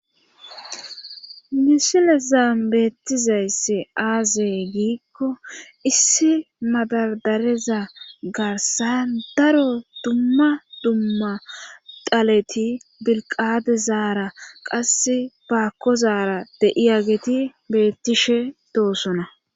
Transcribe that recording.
Misilezan beettizaysi aaze giikko issi madardareza garssan daro dumma dumma dhaleti bilqqaxezaara qassi baakkozara de7iyageti beettishe doosona.